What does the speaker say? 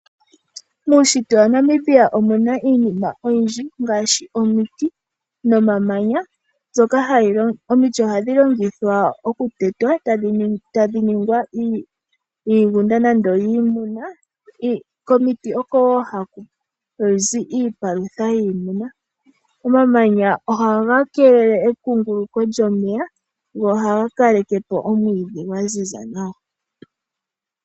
Muushitwe wa Namibia omu na iinima oyindji ngaashi omiti nomamanya. Omiti ohadhi vulu okutetwa aantu e taa dhike iigunda yiimuna. Komiti ohaku zi wo iipalutha yiimuna. Omamanya ohaga kelele ekunguluko lyomeya go ohaga kaleke po omwiidhi gwa ziza nawa.